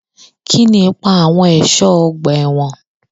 Kí ni ipa àwọn ẹ̀ṣọ́ ọgbà ẹ̀wọ̀n?